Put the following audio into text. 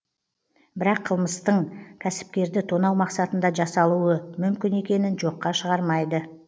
бірақ қылмыстың кәсіпкерді тонау мақсатында жасалуы мүмкін екенін жоққа шығармайды